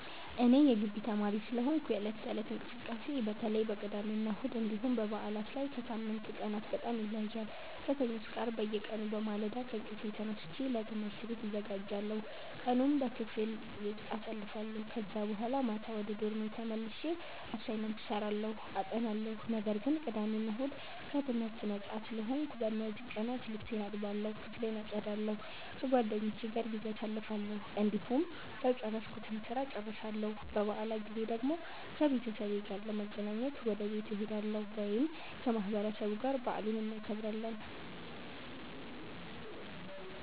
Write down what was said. እኔ የጊቢ ተማሪ ስለሆንኩ የዕለት ተዕለት እንቅስቃሴዬ በተለይ በቅዳሜና እሁድ እንዲሁም በበዓላት ላይ ከሳምንቱ ቀናት በጣም ይለያያል። ከሰኞ እስከ አርብ በየቀኑ በማለዳ ከእንቅልፌ ተነስቼ ለትምህርት ቤት እዘጋጃለሁ፣ ቀኑን በክፍል ውስጥ አሳልፋለሁ ከዛ በኋላ ማታ ወደ ዶርሜ ተመልሼ አሳይመንት እሰራለሁ አጠናለሁ። ነገር ግን ቅዳሜ እና እሁድ ከትምህርት ነጻ ስለሆንኩ፣ በእነዚህ ቀናት ልብሴን እጠባለሁ፣ ክፍሌን አጸዳለሁ፣ ከጓደኞቼ ጋር ጊዜ አሳልፋለሁ፣ እንዲሁም ያልጨረስኩትን ስራ እጨርሳለሁ። በበዓላት ጊዜ ደግሞ ከቤተሰቤ ጋር ለመገናኘት ወደ ቤት እሄዳለሁ ወይም ከማህበረሰቡ ጋር በዓሉን እናከብራለን።